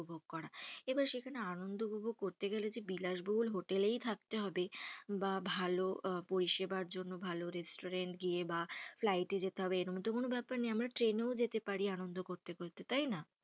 এবার সেখানে আনন্দ উপভোগ করতে গেলে, যে বিলাস বহুল হোটেল এই থাকতে হবেই, বা ভালো পরিষেবার জন্য ভালো resturatant গিয়ে বা flight এ যেতে হবে, এমন তো কোনো বেপার না, আমরা ট্রেন ও যেতে পারি, আনন্দ করতে করতে তাই না,